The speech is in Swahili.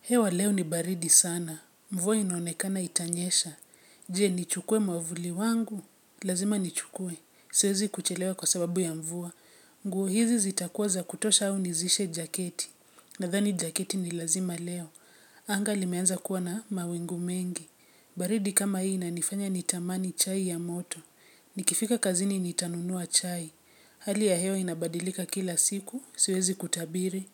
Hewa leo ni baridi sana. Mvua inaonekana itanyesha. Je, nichukue mwavuli wangu? Lazima nichukue. Siwezi kuchelewa kwa sababu ya mvua. Nguo hizi zitakuwa za kutosha au nizishe jaketi. Nadhani jaketi ni lazima leo. Anga limeanza kuwa na mawingu mengi. Baridi kama hii inanifanya nitamani chai ya moto. Nikifika kazini nitanunua chai. Hali ya hewa inabadilika kila siku. Siwezi kutabiri.